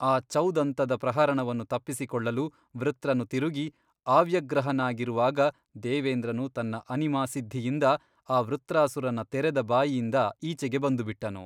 ಆ ಚೌದಂತದ ಪ್ರಹರಣವನ್ನು ತಪ್ಪಿಸಿಕೊಳ್ಳಲು ವೃತ್ರನು ತಿರುಗಿ ಆವ್ಯಗ್ರಹನಾಗಿರುವಾಗ ದೇವೇಂದ್ರನು ತನ್ನ ಅನಿಮಾಸಿದ್ಧಿಯಿಂದ ಆ ವೃತ್ರಾಸುರನ ತೆರೆದ ಬಾಯಿಯಿಂದ ಈಚೆಗೆ ಬಂದುಬಿಟ್ಟನು.